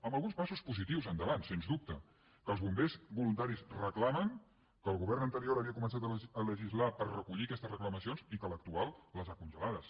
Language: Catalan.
amb alguns passos positius endavant sens dubte que els bombers voluntaris reclamen que el govern anterior havia començat a legislar per recollir aquestes reclamacions i que l’actual les ha congelades